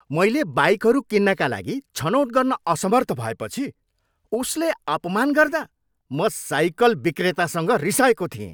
मैले बाइकहरू किन्नाका लागि छनौट गर्न असमर्थ भएपछि उसले अपमान गर्दा म साइकल विक्रेतासँग रिसाएको थिएँ।